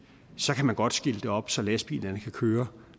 så kan man godt skilte op så lastbilerne kan køre